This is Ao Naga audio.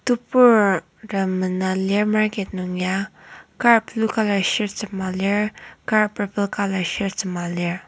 teburtem mena lir market nung ya kar blue colour shirt sema kar purple colour shirt sema lir.